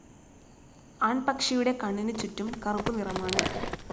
ആൺപക്ഷിയുടെ കണ്ണിന് ചുടും കറുപ്പു നിറമാണ്.